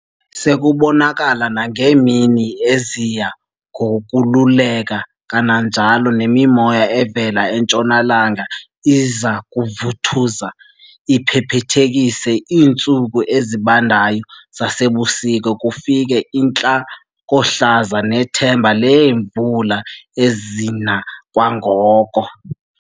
Sekubonakala nangeemini eziya ngokoluleka kananjalo nemimoya evela entshonalanga iza kuvuthuza - iphephethekise iintsuku ezibandayo zasebusika kufike intlakohlaza nethemba leemvula ezina kwangoko.